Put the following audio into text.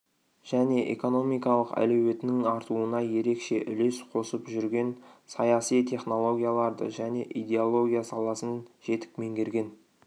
және экономикалық әлеуетінің артуына ерекше үлес қосып жүрген саяси технологияларды және идеология саласын жетік меңгерген